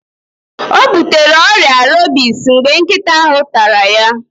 O butere ọrịa rebis mgbe nkịta ahụ tara ya.